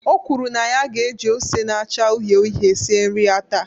O kwuru na ya ga-eji ose na-acha uhie uhie sie nri ya taa.